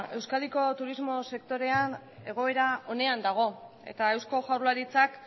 euskadiko turismo sektorea egoera onean dago eta eusko jaurlaritzak